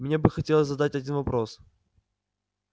мне бы хотелось задать один вопрос